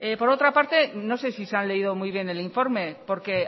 por otra parte no sé si se han leído muy bien el informe porque